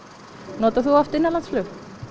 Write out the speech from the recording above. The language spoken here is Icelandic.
notar þú oft innanlandsflug